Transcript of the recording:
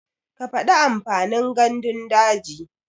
Ka faɗi amfanin gandun daji.